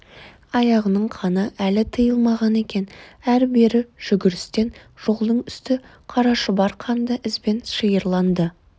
аяғының қаны әлі тыйылмаған екен ары-бері жүгірістен жолдың үсті қарашұбар қанды ізбен шиырланды